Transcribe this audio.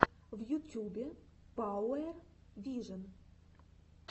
в ютюбе пауэр вижен